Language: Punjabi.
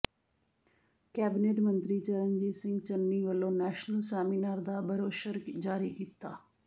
ਕੈਬਨਿਟ ਮੰਤਰੀ ਚਰਨਜੀਤ ਸਿੰਘ ਚੰਨੀ ਵੱਲੋਂ ਨੈਸ਼ਨਲ ਸੈਮੀਨਾਰ ਦਾ ਬਰੌਸ਼ਰ ਜਾਰੀ ਕੀਤਾ